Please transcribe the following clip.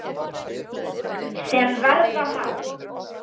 sem verða má.